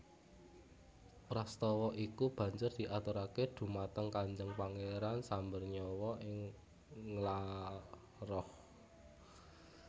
Prastowo iku banjur diaturake dumateng Kanjeng Pangeran Sambernyawa ing Nglaroh